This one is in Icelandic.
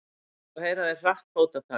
Þá heyra þeir hratt fótatak.